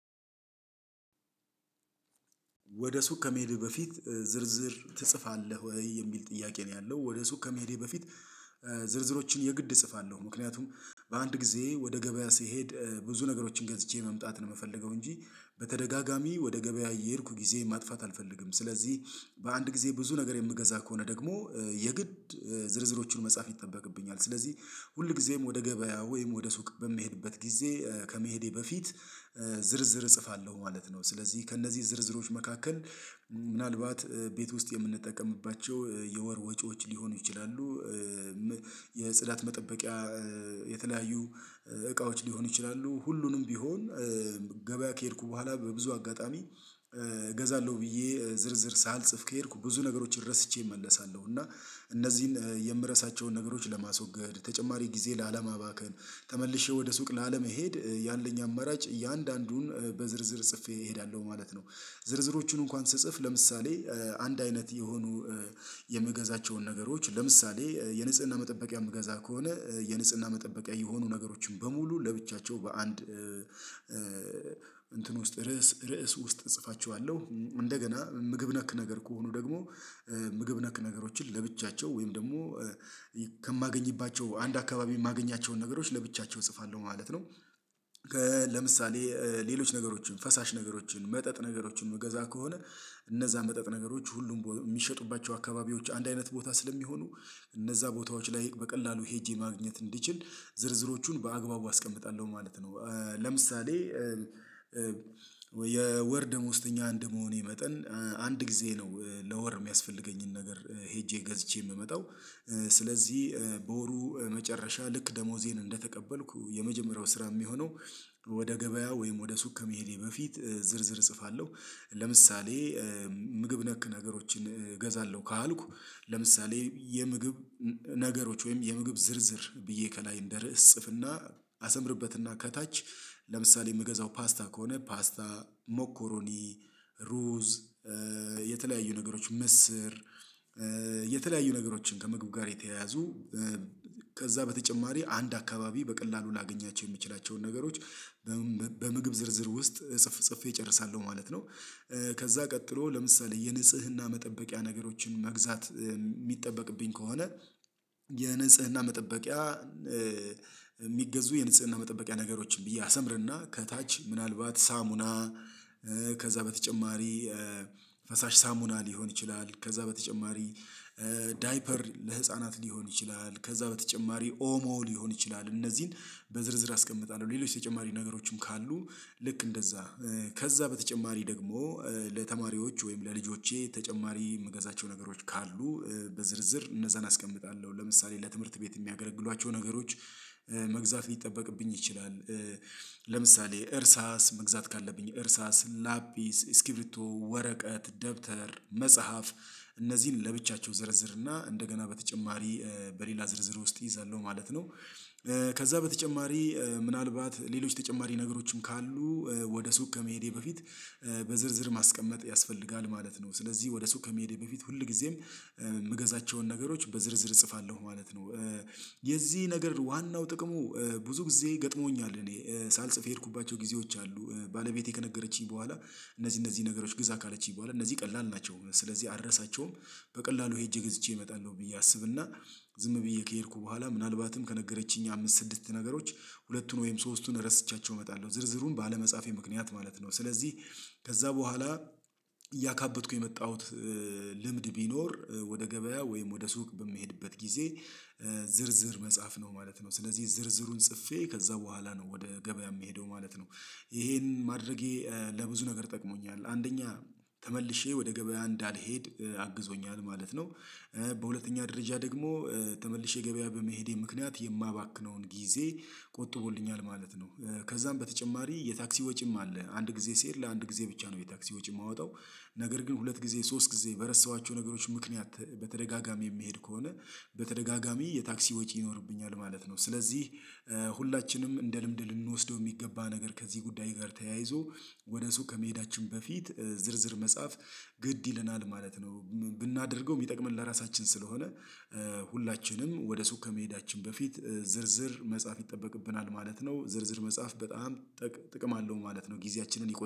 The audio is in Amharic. ወደ ሱቅ ከመሄድህ በፊት ዝርዝር ትጽፋለህ ወይ የሚል ጥያቄ ነው? ያለው ወደ ሱቅ ከመሄዴ በፊት ዝርዝሮችን የግድ እጽፋለሁ ምክንያቱም በአንድ ጊዜ ወደ ገበያ ስሄድ ብዙ ነገሮችን ገዝቼ መምጣት ነው የምፈልገው። እንጂ በተደጋጋሚ ወደ ገበያ እየሄድኩ ጊዜ ማጥፋት አልፈልግም። ስለዚህ በአንድ ጊዜ ብዙ ነገር የምገዛ ከሆነ ደግሞ የግድ ዝርዝሮቹን መጻፍ ይጠበቅብኛል። ስለዚህ ሁል ጊዜም ወደ ገበያ ወይም ወደ ሱቅ በምሄድበት ጊዜ ከመሄዴ በፊት ዝርዝር እጽፋለሁ ማለት ነው። ስለዚህ ከእነዚህ ዝርዝሮች መካከል ምናልባት ቤት ውስጥ የምንጠቀምባቸው የወር ወጪዎች ሊሆኑ ይችላሉ። የጽዳት መጠበቂያ የተለያዩ እቃዎች ሊሆኑ ይችላሉ። ሁሉንም ቢሆን ገበያ ከሄድኩ በኋላ በብዙ አጋጣሚ እገዛለሁ ብዬ ዝርዝር ሳልጽፍ ከሄድኩ ብዙ ነገሮችን ረስቼ እመለሳለሁ። እና እነዚህን የምረሳቸውን ነገሮች ለማስወገድ ተጨማሪ ጊዜ ላለማባከን ተመልሼ ወደ ሱቅ ላለመሄድ ያለኝ አማራጭ እያንዳንዱን በዝርዝር ጽፌ እሄዳለሁ ማለት ነው። ዝርዝሮቹን እንኳን ስጽፍ ለምሳሌ አንድ አይነት የሆኑ የምገዛቸውን ነገሮች ለምሳሌ የንጽህና መጠበቂያ የምገዛ ከሆነ የንጽህና መጠበቂያ የሆኑ ነገሮችን በሙሉ ለብቻቸው በአንድ እንትን ውስጥ ርዕስ ርዕስ ውስጥ እጽፋቸዋለሁ። እንደገና ምግብ ነክ ነገር ከሆኑ ደግሞ ምግብ ነክ ነገሮችን ለብቻቸው ወይም ደግሞ ከማገኝባቸው አንድ አካባቢ የማገኛቸውን ነገሮች ለብቻቸው እጽፋለሁ ማለት ነው። ለምሳሌ ሌሎች ነገሮችን ፈሳሽ ነገሮችን መጠጥ ነገሮችን ምገዛ ከሆነ እነዛ መጠጥ ነገሮች ሁሉም የሚሸጡባቸው አካባቢዎች አንድ አይነት ቦታ ስለሚሆኑ እነዛ ቦታዎች ላይ በቀላሉ ሄጄ ማግኘት እንዲችል ዝርዝሮቹን በአግባቡ አስቀምጣለሁ ማለት ነው። ለምሳሌ የወር ደሞዝተኛ አንደመሆኔ መጠን አንድ ጊዜ ነው ለወር የሚያስፈልገኝን ነገር ሄጄ ገዝቼ የምመጣው ስለዚህ በወሩ መጨረሻ ልክ ደሞዜን እንደተቀበልኩ የመጀመሪያው ስራ የሚሆነው ወደ ገበያ ወይም ወደ ሱቅ ከመሄዴ በፊት ዝርዝር እጽፋለሁ። ለምሳሌ ምግብ ነክ ነገሮችን እገዛለሁ ካልኩ ለምሳሌ የምግብ ነገሮች ወይም የምግብ ዝርዝር ብዬ ከላይ እንደ ርዕስ እጽፍና አሰምርበትና ከታች ለምሳሌ የምገዛው ፓስታ ከሆነ ፓስታ ሞኮሮኒ ሩዝ የተለያዩ ነገሮች ምስር የተለያዩ ነገሮችን ከምግብ ጋር የተያያዙ ከዛ በተጨማሪ አንድ አካባቢ በቀላሉ ላገኛቸው የምችላቸውን ነገሮች በምግብ ዝርዝር ውስጥ ጽፌ እጨርሳለሁ ማለት ነው። ከዛ ቀጥሎ ለምሳሌ የንጽህና መጠበቂያ ነገሮችን መግዛት የሚጠበቅብኝ ከሆነ የንጽህና መጠበቂያ የሚገዙ የንጽህና መጠበቂያ ነገሮችን ብዬ አሰምርና ከታች ምናልባት ሳሙና ከዛ በተጨማሪ ፈሳሽ ሳሙና ሊሆን ይችላል። ከዛ በተጨማሪ ዳይፐር ለህፃናት ሊሆን ይችላል። ከዛ በተጨማሪ ኦሞ ሊሆን ይችላል እነዚህን በዝርዝር አስቀምጣለሁ። ሌሎች ተጨማሪ ነገሮችም ካሉ ልክ እንደዛ ከዛ በተጨማሪ ደግሞ ለተማሪዎች ወይም ለልጆቼ ተጨማሪ የምገዛቸው ነገሮች ካሉ በዝርዝር እነዛን አስቀምጣለሁ። ለምሳሌ ለትምህርት ቤት የሚያገለግሏቸው ነገሮች መግዛት ሊጠበቅብኝ ይችላል እርሳስ መግዛት ካለብኝ እርሳስ ላፒስ እስኪብሪቶ ወረቀት ደብተር መጽሐፍ እነዚህን ለብቻቸው እዘረዝርና እንደገና በተጨማሪ በሌላ ዝርዝር ውስጥ እይዛለሁ ማለት ነው። ከዛ በተጨማሪ ምናልባት ሌሎች ተጨማሪ ነገሮችን ካሉ ወደ ሱቅ ከመሄዴ በፊት በዝርዝር ማስቀመጥ ያስፈልጋል ማለት ነው። ስለዚህ ወደ ሱቅ ከመሄዴ በፊት ሁል ጊዜም የምገዛቸውን ነገሮች በዝርዝር እጽፋለሁ ማለት ነው። የዚህ ነገር ዋናው ጥቅሙ ብዙ ጊዜ ገጥሞኛል እኔ ሳልጽፍ የሄድኩባቸው ጊዜዎች አሉ ባለቤቴ ከነገረችኝ በኋላ እነዚህ እነዚህ ነገሮች ግዛ ካለችኝ በኋላ እነዚህ ቀላል ናቸው። ስለዚህ አረሳቸውም በቀላሉ ሄጄ ገዝቼ እመጣለሁ። ብዬ አስብና ዝም ብዬ ከሄድኩ በኋላ ምናልባትም ከነገረችኝ አምስት ስድስት ነገሮች ሁለቱን ወይም ሶስቱን ረስቻቸው እመጣለሁ ዝርዝሩን ባለመጻፌ ምክንያት ማለት ነው። ስለዚህ ከዛ በኋላ እያካበትኩ የመጣሁት ልምድ ቢኖር ወደ ገበያ ወይም ወደ ሱቅ በምሄድበት ጊዜ ዝርዝር መጻፍ ነው ማለት ነው። ስለዚህ ዝርዝሩን ጽፌ ከዛ በኋላ ነው ወደ ገበያ የምሄደው ማለት ነው። ይሄን ማድረጌ ለብዙ ነገር ጠቅሞኛል አንደኛ ተመልሼ ወደ ገበያ እንዳልሄድ አግዞኛል ማለት ነው። በሁለተኛ ደረጃ ደግሞ ተመልሼ ገበያ በመሄዴ ምክንያት የማባክነውን ጊዜ ቆጥቦልኛል ማለት ነው። ከዛም በተጨማሪ የታክሲ ወጪም አለ አንድ ጊዜ ስሄድ ለአንድ ጊዜ ነው የታክሲ ወጪ የማወጣው። ነገር ግን ሁለት ጊዜ ሶስት ጊዜ በረሳኋቸው ነገሮች ምክንያት በተደጋጋሚ የምሄድ ከሆነ በተደጋጋሚ የታክሲ ወጪ ይኖርብኛል ማለት ነው። ስለዚህ ሁላችንም እንደ ልምድ ልንወስደው የሚገባ ነገር ከዚህ ጉዳይ ጋር ተያይዞ ወደ ሱቅ ከመሄዳችን በፊት ዝርዝር መጻፍ ግድ ይለናል ማለት ነው። ብናደርገው የሚጠቅመን ለራሳችን ስለሆነ ሁላችንም ወደ ሱቅ ከመሄዳችን በፊት ዝርዝር መጻፍ ይጠበቅብናል ማለት ነው። ዝርዝር መጻፍ በጣም ጥቅም አለው ማለት ነው። ጊዜያችንን ይቆጥባሉ